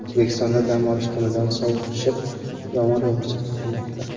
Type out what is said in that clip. O‘zbekistonda dam olish kunidan sovuq tushib, yomg‘ir yog‘ishi kutilmoqda.